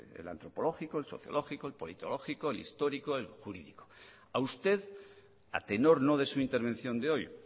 el antropológico el sociológico el politológico el histórico el jurídico a usted a tenor no de su intervención de hoy